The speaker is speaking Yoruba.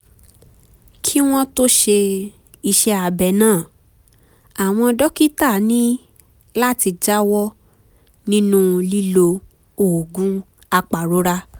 kí wọ́n tó ṣe iṣẹ́ abẹ náà àwọn dókítà ní láti jáwọ́ nínú lílo oògùn apàrora